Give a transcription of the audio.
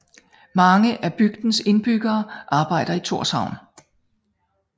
Mange af bygdens indbyggere arbejder i Tórshavn